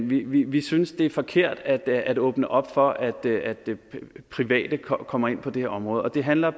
vi vi synes det er forkert at åbne op for at det private kommer kommer ind på det her område og det handler